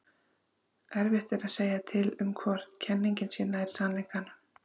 erfitt er að segja til um hvor kenningin sé nær sannleikanum